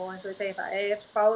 það er spáð